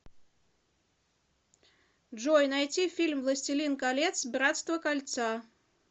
джой найти фильм властилин колец братство кольца